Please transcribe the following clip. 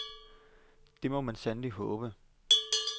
Det må man sandelig håbe.